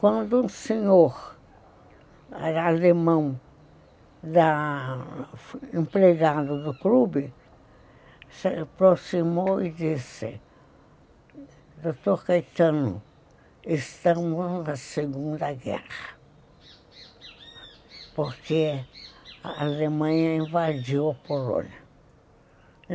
Quando um senhor alemão, empregado do clube, se aproximou e disse, Dr. Caetano, estamos na Segunda Guerra, porque a Alemanha invadiu a Polônia.